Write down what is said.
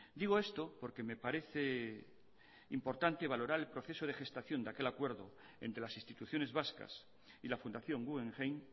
digo esto porque me parece importante valorar el proceso de gestación de aquel acuerdo entre las instituciones vascas y la fundación guggenheim